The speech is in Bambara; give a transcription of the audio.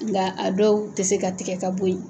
Nka a dɔw tɛ se ka tɛgɛ ka bɔ yen.